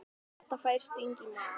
Edda fær sting í magann.